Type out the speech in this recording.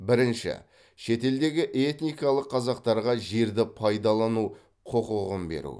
бірінші шетелдегі этникалық қазақтарға жерді пайдалану құқығын беру